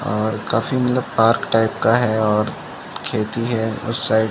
और काफी मतलब पार्क टाइप का है और खेती है उस साइड --